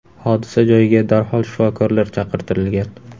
Hodisa joyiga darhol shifokorlar chaqirtirilgan.